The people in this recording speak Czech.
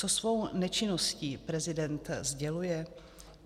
Co svou nečinností prezident sděluje?